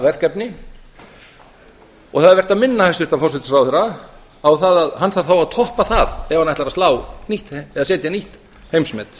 verkefni og það er vert að minna hæstvirtan forsætisráðherra á að hann þarf þá að toppa það ef hann ætlar að setja nýtt heimsmet